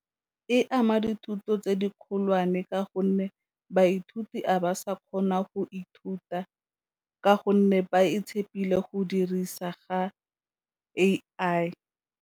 E ama dithuto tse di kgolwane ka gonne baithuti a ba sa kgona go ithuta ka gonne ba e tshepile go dirisa ga A_I.